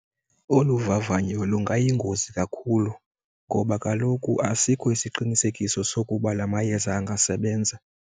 Olu vavanyo lungayingozi kakhulu ngoba kaloku asikho isiqinisekiso sokuba la mayeza angasebenza.